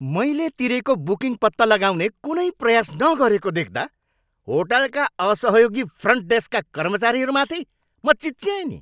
मैले तिरेको बुकिङ पत्ता लगाउने कुनै प्रयास नगरेको देख्दा होटलका असहयोगी फ्रन्ट डेस्कका कर्मचारीहरूमाथि म चिच्याएँ नि।